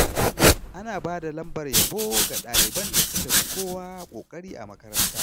Ana ba da lambar yabo ga ɗaliban da suka fi kowa ƙoƙari a makaranta.